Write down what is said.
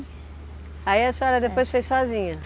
Aí a senhora depois foi sozinha?